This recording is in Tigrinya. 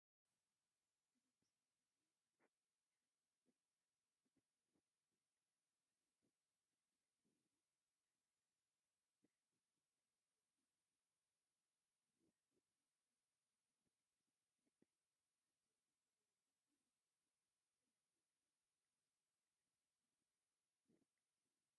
እዚ ምስሊ እዚ ኣብ ሓጺናዊ ሳጹን ጽቡቕ ጌሩ ዝተጠብሰ ዓሳ ዘርኢ እዩ። ሰለስተ ዝተጠብሱ ዓሳታት ብሓባር ተደራሪቦም ኣለዉ። ብሰዓብቲ ኦርቶዶክሳዊት ተዋህዶ ቤተ ክርስቲያን ኢትዮጵያ ኣብ ዝኽበርዎ ነዊሕ ጾም ስለምንታይ ከምዚ ዓይነት ዓሳ ምብላዕ ዝፍቀድ?